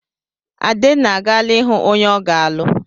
Adenna agaala ịhụ onye ọ ga-alụ.